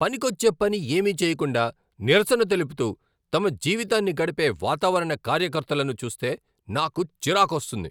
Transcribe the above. పనికొచ్చే పని ఏమీ చేయకుండా నిరసన తెలుపుతూ తమ జీవితాన్ని గడిపే వాతావరణ కార్యకర్తలను చూస్తే నాకు చిరాకొస్తుంది.